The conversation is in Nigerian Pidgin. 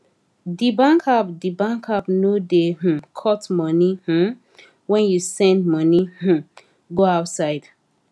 de bankapp de bankapp no da um cut money um when you send money um go outside